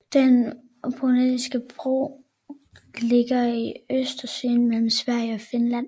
Den Botniske Bugt ligger i Østersøen mellem Sverige og Finland